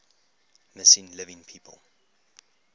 missing living people